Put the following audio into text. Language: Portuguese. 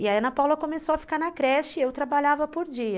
E a Ana Paula começou a ficar na creche e eu trabalhava por dia.